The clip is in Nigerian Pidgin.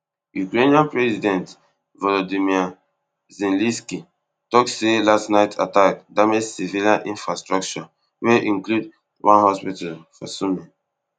ukrainian president volodymyr zelensky tok say last night attack damage civilian infrastructure wey include one hospital for sumy